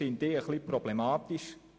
Das finde ich etwas problematisch.